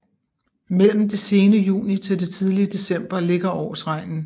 Mellem det sene juni til det tidlige december ligger årsregnen